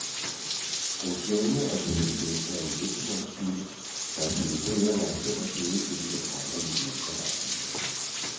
Den sjældne, og døde gæst er en næsehornsbille, der ifølge bøgerne er femogtyve til niogtredive millimeter lang.